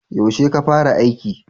Yaushe ka fara aiki?